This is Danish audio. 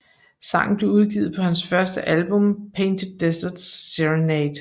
Sangen blev udgivet på hans første album Painted Desert Serenade